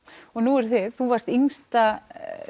og nú eruð þið þú varst yngsta